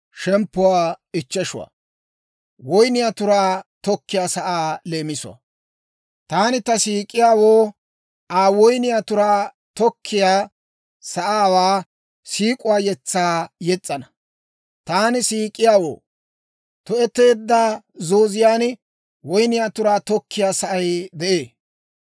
Taani ta siik'iyaawoo Aa woyniyaa turaa tokkiyaa sa'aawaa siik'uwaa yetsaa yes's'ana. Taani siik'iyaawoo tu'eteedda zooziyaan woyniyaa turaa tokkiyaa sa'ay de'ee.